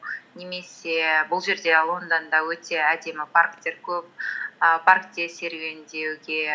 немесе бұл жерде лондонда өте әдемі парктер көп ііі паркте серуендеуге